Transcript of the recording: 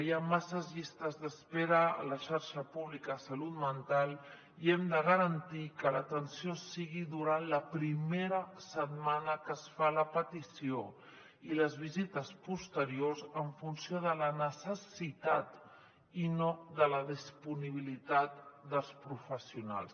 hi ha masses llistes d’espera a la xarxa pública salut mental i hem de garantir que l’atenció sigui durant la primera setmana que es fa la petició i les visites posteriors en funció de la necessitat i no de la disponibilitat dels professionals